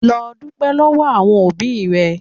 Lọ dúpẹ́ lọ́wọ́ àwọn òbí rẹ.